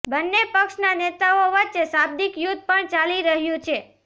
બંને પક્ષના નેતાઓ વચ્ચે શાબ્દિક યુદ્ધ પણ ચાલી રહ્યું છે